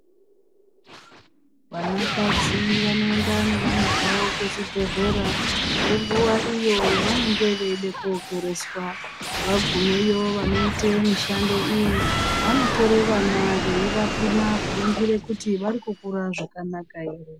Vanakadzi vanoenda nevana zvavo kuzvibhedhlera, ngenguwa iyo yevanenge veide kookereswa. Vagumeyo vanoite mishando iyi vanotore vana veivapima, kuringire kuti varikukura zvakanaka ere.